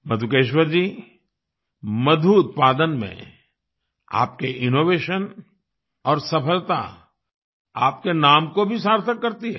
मधुकेश्वर जी मधु उत्पादन में आपके इनोवेशन और सफलता आपके नाम को भी सार्थक करती है